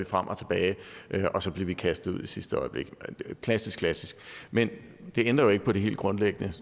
frem og tilbage og så blev vi kastet ud i sidste øjeblik klassisk klassisk men det ændrer jo ikke på det helt grundlæggende